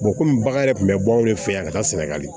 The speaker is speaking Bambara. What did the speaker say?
komi bagan yɛrɛ tun bɛ bɔ anw de fɛ yan ka taa sɛnɛgali